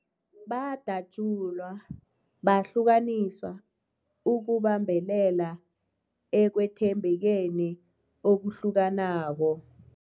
Badatjulwa, bahlukaniswa ukubambelela ekwethembekeni okuhlukanako.